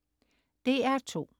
DR2: